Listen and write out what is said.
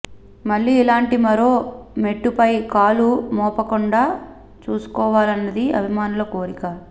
మళ్లీ ఇలాంటి మరో మెట్టుపై కాలు మోపకుండా చూసుకోవాలన్నది అభిమానుల కోరిక